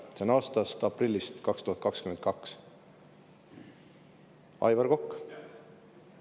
" See on 2022. aasta aprillist, Aivar Kokk.